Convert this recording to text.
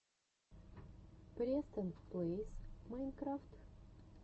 престон плэйс майнкрафт